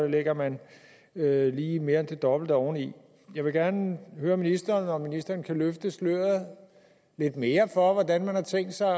lægger man lige mere end det dobbelte oveni jeg vil gerne høre ministeren om ministeren kan løfte sløret lidt mere for hvordan man har tænkt sig at